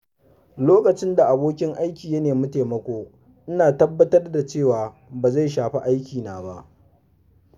Lokacin da abokin aiki ya nemi taimako, ina tabbatar da cewa ba zai shafi aikina ba.